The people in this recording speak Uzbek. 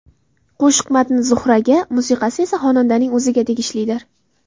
Qo‘shiq matni Zuhraga, musiqasi esa xonandaning o‘ziga tegishlidir.